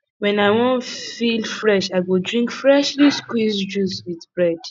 when i wan feel fresh i go drink freshly squeezed juice with bread